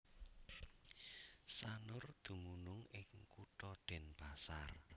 Sanur dumunung ing Kutha Denpasar